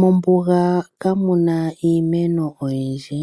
Mombuga kamuna iimeno oyindji,